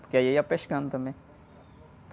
Porque aí ia pescando também.